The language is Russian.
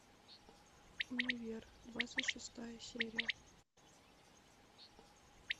универ двадцать шестая серия